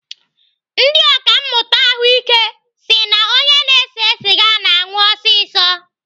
Ndị ọkàmmụta ahụike si na onye na-ese sịga na-anwụ ọsịsọ.